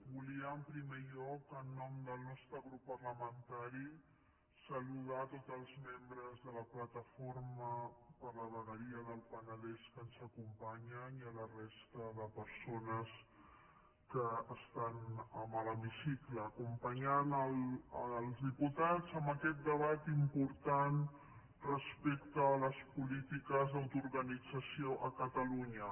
volia en primer lloc en nom del nostre grup parlamentari saludar tots els membres de la plataforma per la vegueria del penedès que ens acompanyen i la resta de persones que estan a l’hemicicle acompanyant els diputats en aquest debat important respecte a les polítiques d’autoorganització a catalunya